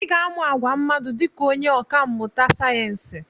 Ị ga-amụ àgwà mmadụ dị ka onye ọkà mmụta sayensị.